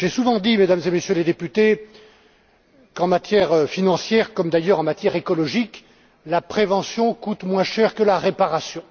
J'ai souvent dit, Mesdames et Messieurs les députés, qu'en matière financière, comme d'ailleurs en matière écologique, la prévention coûte moins cher que la réparation.